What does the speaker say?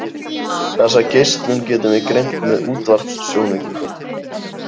Þessa geislun getum við greint með útvarpssjónaukum.